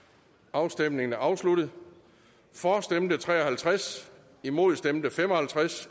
afstemningen er afsluttet for stemte tre og halvtreds imod stemte fem og halvtreds